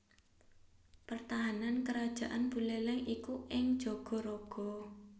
Pertahanan Karajaan Buléléng iku ing Jagaraga